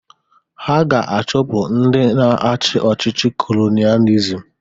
Ha ga-achụpụ ndị na-achị ọchịchị kolonializm